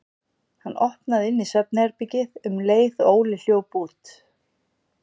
Hann opnaði inn í svefnherbergið um leið og Óli hljóp út.